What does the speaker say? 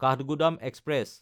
Kathgodam express